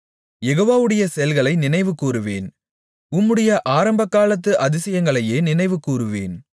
யெகோவாவுடைய செயல்களை நினைவுகூருவேன் உம்முடைய ஆரம்பகாலத்து அதிசயங்களையே நினைவுகூருவேன்